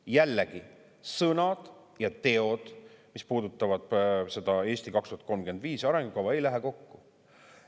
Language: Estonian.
Jällegi, sõnad ja teod, mis puudutavad seda "Eesti 2035" arengukava, ei lähe kokku.